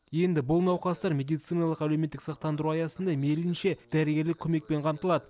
енді бұл науқастар медициналық әлеуметтік сақтандыру аясында мейлінше дәрігерлік көмекпен қамтылады